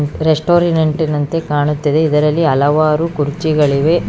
ರೆಸ್ಟೋರೆಂಟ್ನಂತೆ ಕಾಣುತ್ತದೆ ಇಲ್ಲಿ ಹಲವಾರು ಕುರ್ಚಿ ಗಳಿವೆ.